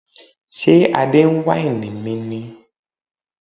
Ṣé Adé ń wáìnì mi ni?